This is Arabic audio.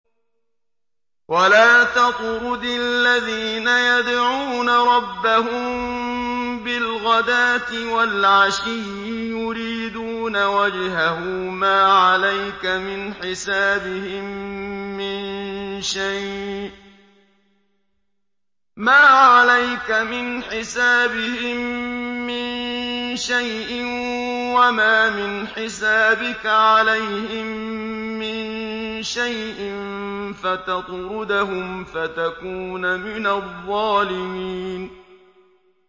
وَلَا تَطْرُدِ الَّذِينَ يَدْعُونَ رَبَّهُم بِالْغَدَاةِ وَالْعَشِيِّ يُرِيدُونَ وَجْهَهُ ۖ مَا عَلَيْكَ مِنْ حِسَابِهِم مِّن شَيْءٍ وَمَا مِنْ حِسَابِكَ عَلَيْهِم مِّن شَيْءٍ فَتَطْرُدَهُمْ فَتَكُونَ مِنَ الظَّالِمِينَ